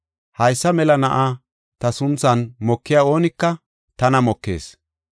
Haysa mela na7a ta sunthan mokiya oonika tana mokees.